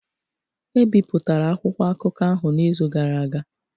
E bipụtara akwụkwọ akụkọ ahụ n’izu gara aga